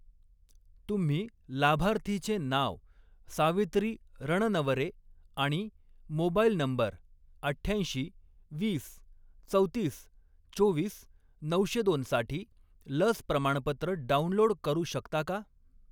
तुम्ही लाभार्थीचे नाव सावित्री रणनवरे आणि मोबाईल नंबर अठ्ठ्याऐंशी, वीस, चौतीस, चोवीस, नऊशे दोन साठी लस प्रमाणपत्र डाउनलोड करू शकता का?